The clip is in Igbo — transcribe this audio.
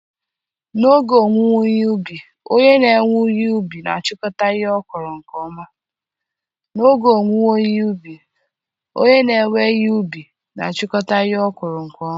n'oge owuwe ihe ubi, onye na-ewe ihe ubi na-achịkọta ihe ọkụkụ nke ọma.